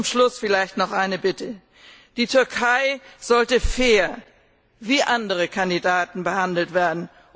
Zum Schluss vielleicht noch eine Bitte Die Türkei sollte fair, wie andere Kandidaten, behandelt werden.